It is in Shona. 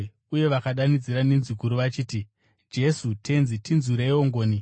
uye vakadanidzira nenzwi guru vachiti, “Jesu, Tenzi, tinzwireiwo ngoni!”